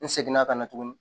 N seginna ka na tuguni